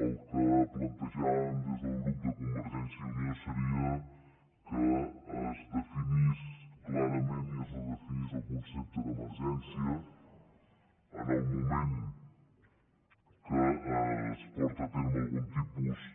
el que plantejàvem des de convergència i unió seria que es definís clarament i es redefinís el concepte d’emergència en el moment que es porta a terme algun tipus